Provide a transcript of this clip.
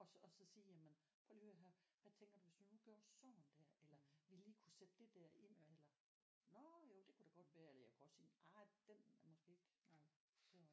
Og så og så sige jamen prøv lige at hør her hvad tænker du hvis vi nu gjorde sådan der eller ville I kunne sætte det der ind eller nåh jo det kunne da godt være eller jeg kunne også sige nej den er måske ikke så